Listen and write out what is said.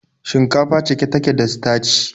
Shinkafa cike take da sitaci.